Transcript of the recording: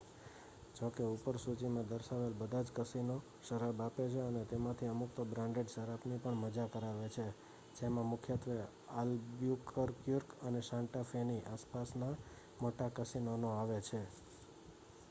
જો કે ઉપર સૂચીમાં દર્શાવેલ બધા જ કસીનો શરાબ આપે છે અને તેમાંથી અમુક તો બ્રાન્ડેડ શરાબની પણ મજા કરાવે છે જેમાં મુખ્યત્વે આલ્બુક્યુર્ક અને સાન્ટા ફેની આસપાસના મોટા કસીનોનો આવે છે